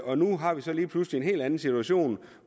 og nu har vi så lige pludselig en helt anden situation